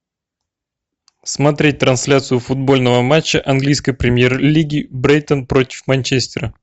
смотреть трансляцию футбольного матча английской премьер лиги брайтон против манчестера